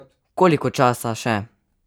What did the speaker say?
Koliko časa še?